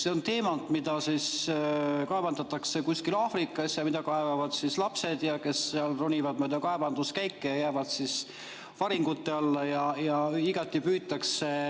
See on teemant, mida kaevandatakse kusagil Aafrikas, seda kaevandavad lapsed, kes ronivad mööda kaevanduskäike ja jäävad varingute alla.